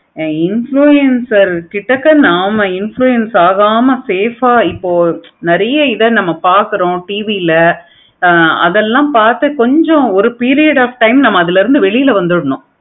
influencer கிட்ட நம்ம influence ஆகம safe ஆஹ் இப்போ நம்ம நெறைய இத பார்க்கிறோம் TV ல ஆஹ் அதெல்லாம் பார்த்து கொஞ்சம் ஒரு period of time பார்த்து அதுல இருந்து கொஞ்சம் வெளிய வந்துரனும்.